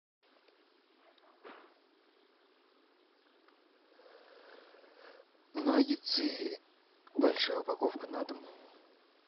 наггетсы большая упаковка на дом